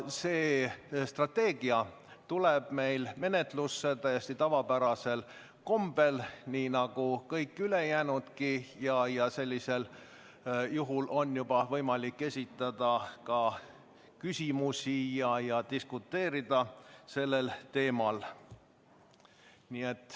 See strateegia tuleb meil menetlusse täiesti tavapärasel kombel nagu kõik teisedki ja siis on võimalik esitada küsimusi ning diskuteerida sellel teemal.